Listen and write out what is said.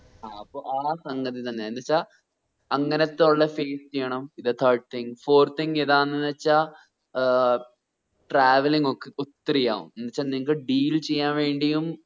ആ അപ്പോ ആ സംഗതി തന്നെ എന്നുവെച്ച അങ്ങനത്തെ ഉള്ള face ചെയ്യണം പിന്നെ third thing fourth thing ഏതാന്നവെച്ചാ travelling ഒക്കെ ഒത്തിരി ആവും എന്തെച്ച നിങ്ങക്ക് deal ചെയ്യാൻ വേണ്ടിയും